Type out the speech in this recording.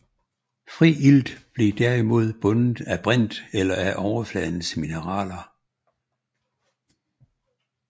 Fri ilt blev derimod bundet af brint eller af overfladens mineraler